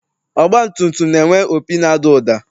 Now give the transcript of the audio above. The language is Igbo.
Ọgbatumtum na-enwe opi na-ada ụda.